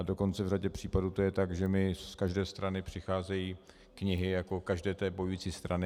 A dokonce v řadě případů to je tak, že mi z každé strany přicházejí knihy jako každé té bojující strany.